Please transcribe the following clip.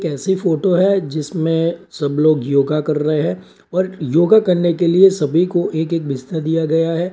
ऐसी फोटो है जिसमें सब लोग योगा कर रहे हैं और योगा करने के लिए सभी को एक-एक बिस्तर दिया गया है।